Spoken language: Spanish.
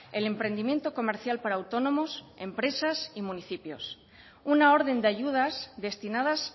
el emprendimiento comercial para autónomos empresas y municipios una orden de ayudas destinadas